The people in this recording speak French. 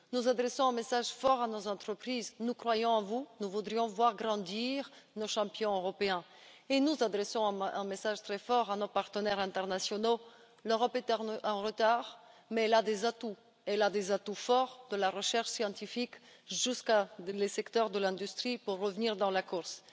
Nous adressons un message fort à nos entreprises nous croyons en vous, nous voudrions voir grandir nos champions européens. Et nous adressons un message très fort à nos partenaires internationaux l'Europe est en retard, mais elle a des atouts forts, de la recherche scientifique aux secteurs de l'industrie, pour revenir dans la course.